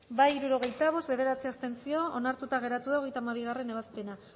bozka hirurogeita bost boto aldekoa bederatzi abstentzio onartuta geratu da hogeita hamabigarrena ebazpena